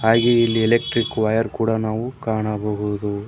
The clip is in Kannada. ಹಾಗೆ ಇಲ್ಲಿ ನಾವು ಎಲೆಕ್ಟ್ರಿಕ್ ವೈಯರ ಕೂಡ ನಾವು ಕಾಣಬಹುದು.